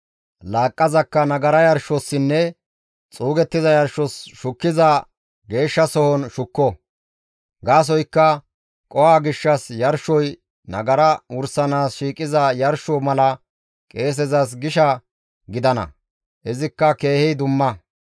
Laaqqazakka nagara yarshossinne xuugettiza yarshos shukkiza geeshshasohon shukko; gaasoykka qoho gishshas yarshoy nagara wursanaas shiiqiza yarsho mala qeesezas gisha gidana; izikka keehi dumma.